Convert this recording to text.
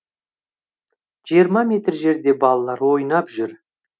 жиырма метр жерде балалар ойнап жүр